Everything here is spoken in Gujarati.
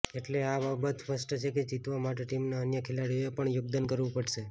એટલે એ બાબત સ્પષ્ટ છે કે જીતવા માટે ટીમના અન્ય ખેલાડીઓએ પણ યોગદાન કરવું પડશે